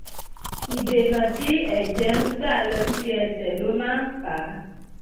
ìdènà tí ẹ̀jẹ̀ ń gbà lọ sí ẹsẹ̀ ló máa ń fà á